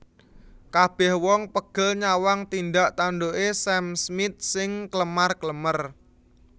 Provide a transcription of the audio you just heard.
Kabeh wong pegel nyawang tindak tanduke Sam Smith sing klemar klemer